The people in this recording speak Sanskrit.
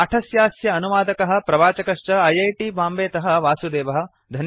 पाठस्यास्य अनुवादकः प्रवाचकश्च ऐ ऐ टी बाम्बेतः वासुदेवः